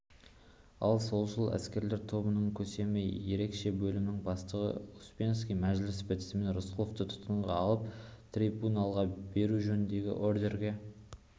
ал солшыл эсерлер тобының көсемі ерекше бөлімнің бастығы успенский мәжілісі бітісімен рысқұловты тұтқынға алып трибуналға беру жөніндегі ордерге